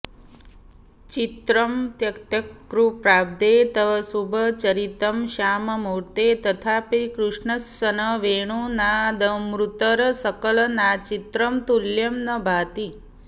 चित्रं यत्तत्कृपाब्धे तव शुभचरितं श्याममूर्ते तथापि कृष्णस्सन् वेणुनादामृतरसकलनाचित्र तुल्यं नु भाति